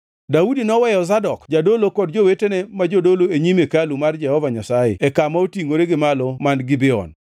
Daudi noweyo Zadok jadolo kod jowetene ma jodolo e nyim hekalu mar Jehova Nyasaye e kama otingʼore gi malo man Gibeon,